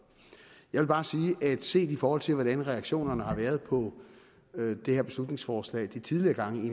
jeg vil bare sige at set i forhold til hvordan reaktionerne har været på det her beslutningsforslag de tidligere gange